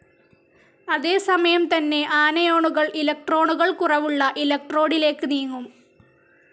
അതേസമയം തന്നെ ആനയോണുകൾ ഇലക്ട്രോണുകൾ കുറവുള്ള ഇലക്ട്രോഡിലേക്ക് നീങ്ങും.